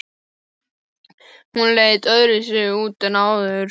Hún leit öðruvísi út en áður.